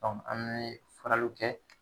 hali n'u ye faraliw kɛ